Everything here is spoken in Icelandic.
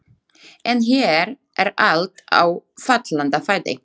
En hér er allt á fallanda fæti.